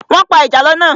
Wọ́n pa ìjàlọ́ náà.